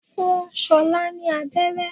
Fún ṣolá ni aberé.